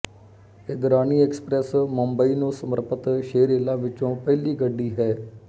Indrani express Mumbai ਨੂੰ ਸਮਰਪਿਤ ਛੇ ਰੇਲਾਂ ਵਿੱਚੋ ਪਹਿਲ਼ੀ ਗੱਡੀ ਹੈ